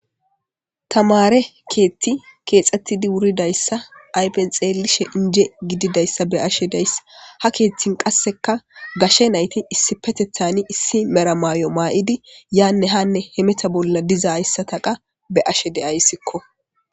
Tamare keeththi keexxettidi wuridayssa ayfen xeelishe inje gididayssa be'ashshe dayssa ha keeththin qasseka gashshe nayti issipetethani issi mella maayo maa'idi yaanne hanne hemeta bolla diza hayssata qaa be'ashshe de'ayissikko